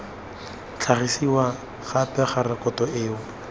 tlhagisiwa gape ga rekoto eo